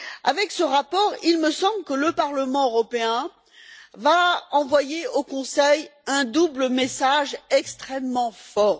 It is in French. Avec ce rapport, il me semble que le Parlement européen envoie au Conseil un double message extrêmement fort.